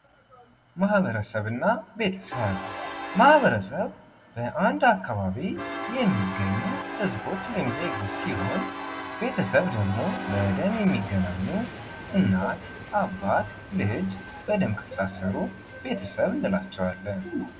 ማህበረሰብ እና ቤተሰብ ማህበረሰብ በአንድ አካባቢ የሚገኙ ህዝቦች ወይም ደግሞ ዜጎች ሲሆን ቤተሰብ ደግሞ በደም የሚገናኙ እናት፥ አባት፥ ልጅ በደም ከተሳሰሩ ቤተሰብ እንላቸዋለን።